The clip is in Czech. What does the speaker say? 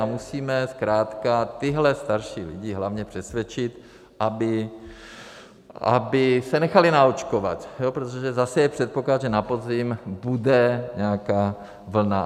A musíme zkrátka tyhle starší lidi hlavně přesvědčit, aby se nechali naočkovat, protože zase je předpoklad, že na podzim bude nějaká vlna.